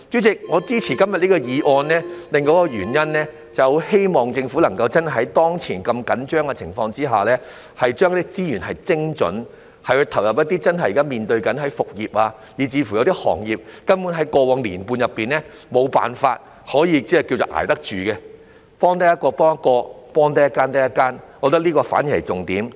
主席，我支持今天這項議案的另一原因，是希望政府真的在當前如此緊張的情況之下，把資源精準地投入一些現時面對復業，以及在過往1年半根本無法捱得住的行業，能幫助一個人就一個人，能幫助一間公司就一間公司，我覺得這才是是重點。